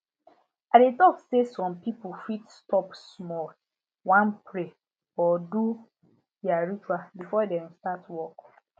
i dey talk say some pipo fit stop small wan pray or do their rituals before dem start work